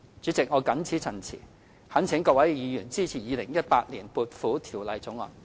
主席，我謹此陳辭，懇請各位議員支持《2018年撥款條例草案》。